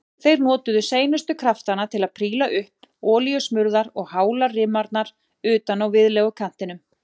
Þeir notuðu seinustu kraftana til að príla upp olíusmurðar og hálar rimarnar utan á viðlegukantinum.